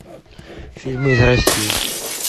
фильмы из россии